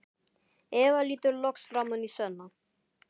Eva lítur loks framan í Svenna.